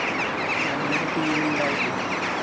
നല്ലൊരു team ഇണ്ടായിട്ട്